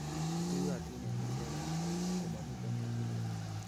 ituyotin en icheget ,komomiten capillaries